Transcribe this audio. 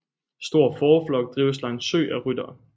Stor fåreflok drives langs sø af ryttere